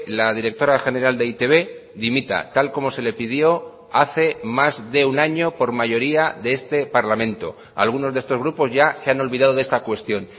la directora general de e i te be dimita tal como se le pidió hace más de un año por mayoría de este parlamento algunos de estos grupos ya se han olvidado de esta cuestión